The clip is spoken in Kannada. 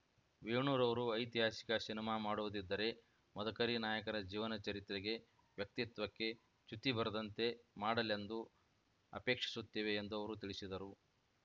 ವೇಣುರವರು ಐತಿಹಾಸಿಕ ಸಿನಿಮಾ ಮಾಡುವುದಿದ್ದರೆ ಮದಕರಿ ನಾಯಕರ ಜೀವನ ಚರಿತ್ರೆಗೆ ವ್ಯಕ್ತಿತ್ವಕ್ಕೆ ಚ್ಯುತಿ ಬರದಂತೆ ಮಾಡಲೆಂದು ಆಪೇಕ್ಷಿಸುತ್ತೇವೆ ಎಂದು ಅವರು ತಿಳಿಸಿದರು